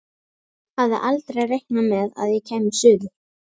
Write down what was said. Hafði aldrei reiknað með að ég kæmi suður.